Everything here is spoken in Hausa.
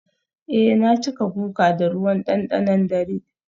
eh na cika guga da ruwan dandanon dare.